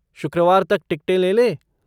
शुक्रवार तक टिकटें ले लें?